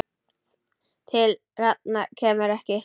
Til hefnda kemur ekki!